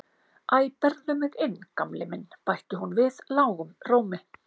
Æ, berðu mig inn Gamli minn bætti hún við lágum rómi.